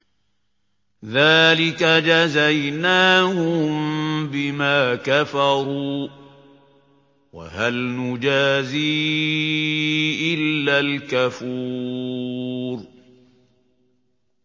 ذَٰلِكَ جَزَيْنَاهُم بِمَا كَفَرُوا ۖ وَهَلْ نُجَازِي إِلَّا الْكَفُورَ